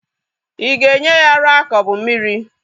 Ị ga-enye ya ara ka o bu mmiri?